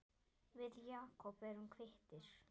Við Jakob erum kvittir